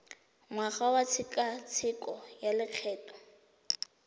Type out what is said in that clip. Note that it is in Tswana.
ngwaga wa tshekatsheko ya lokgetho